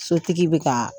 Sotigi bɛ ka